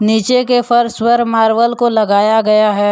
नीचे के फर्स पर मार्बल को लगाया गया है।